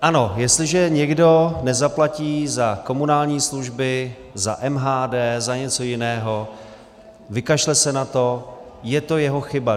Ano, jestliže někdo nezaplatí za komunální služby, za MHD, za něco jiného, vykašle se na to, je to jeho chyba.